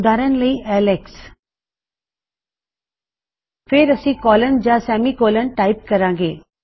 ਉਦਾਰਨ ਲਈ Alex Alex ਫੇਰ ਅਸੀਂ ਕੋਲਨ ਜਾਂ ਸੈਮੀਕੋਲਨ ਟਾਈਪ ਕਰਾਂਗੇ